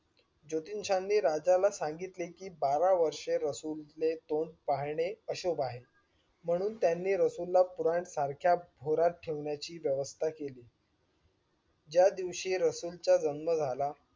जोतिषांनी राजाला सांगितले कि बारा वर्ष रसूल ने तोंड पाहणे अशुभ आहे म्हणून त्यांनीरसूल ला पुराण सारख्या भोरात ठेवण्याची व्यवस्था केली ज्या दिवशी रसूल चा जन्म झाला.